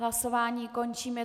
Hlasování končím.